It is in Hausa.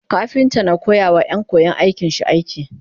kafinta na koyawa Ƴan. koyan aikin shi aiki